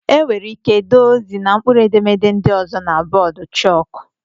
Enwere ike dee ozi na mkpụrụedemede ndị ọzọ na bọọdụ chók